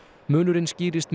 munurinn skýrist